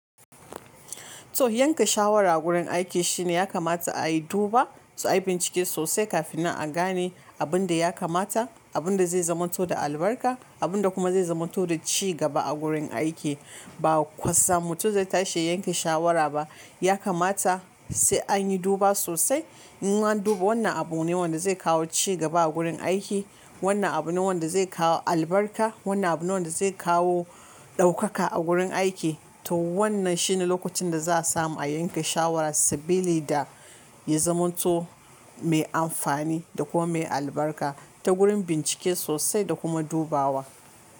To yanke shawara a gurin aiki shine ya kamata a yi duba, su ayi bincike sosai kafin na a gane abun da ya kamata, abun da zai zaman to da albarka, abun da kuma zai zaman to da cigaba a gurin aiki. Ba kwasam mutum zai tashi yanke shawara ba. Ya kamata sai an yi duba sosai. In an duba wannan abu ne wanda zai kawo cigaba a gurin aiki, wannan abu ne wanda zai kawo albarka, wannan abu ne wanda zai kawo ɗaukaka a gurin aiki. To wannan shine lokacin da za a samu a yanke shawara sabili da yazamanto to mai amfani da kuma mai albarka ta gurin bincike sosai da kuma dubawa.